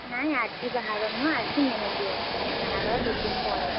ନାଇଁ ଆଜି ବାହାଘର ନୁହଁ ଆଜି ମେହେନ୍ଦୀ ଅଛି ବାହାଘର ଦିଦିନ୍‌ ପରେ।